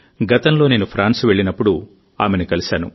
గతంలో నేను ఫ్రాన్స్ వెళ్లినప్పుడు ఆమెను కలిశాను